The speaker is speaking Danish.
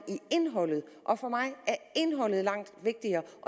indholdet og for mig er indholdet langt vigtigere